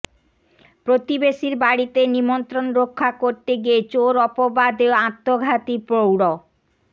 প্রতিবেশীর বাড়িতে নিমন্ত্রণ রক্ষা করতে গিয়ে চোর অপবাদে আত্মঘাতী প্রৌঢ়